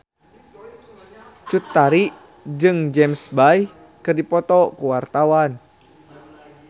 Cut Tari jeung James Bay keur dipoto ku wartawan